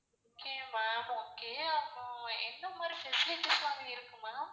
Okay ma'am okay அப்புறம் எந்த மாதிரி facilities லாம் அங்க இருக்கு ma'am